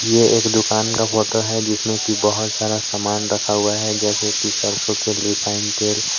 यह एक दुकान का फोटो है जिसमें की बहुत सारा सामान रखा हुआ है जैसे कि सरसों के रिफाइंड तेल.